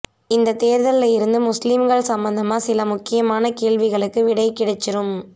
இந்த தேர்தல்ல இருந்து முஸ்லீம்கள் சம்மந்தமா சில முக்கியமான கேள்விக்கு விடை கிடைச்சுரும்